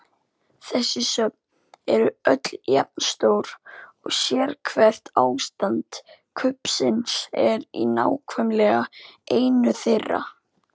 Þessi söfn eru öll jafn stór og sérhvert ástand kubbsins er í nákvæmlega einu þeirra.